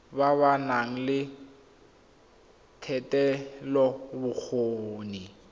ba ba nang le thetelelobokgoni